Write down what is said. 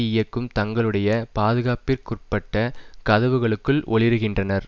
இயக்கும் தங்களுடைய பாதுகாப்பிற்குட்பட்ட கதவுகளுக்குள் ஒளிருகின்றனர்